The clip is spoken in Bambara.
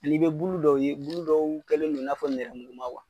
N'i be bulu dɔw ye bulu dɔw kɛlen do i n'a fɔ nɛrɛmuguma